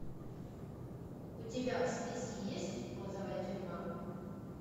у тебя в списке есть розовая тюрьма